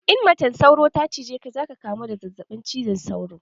In macen sauro ta cije ka zaka kamu da zazzaɓin cizon sauro